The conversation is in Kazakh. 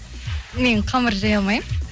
мен қамыр жая алмаймын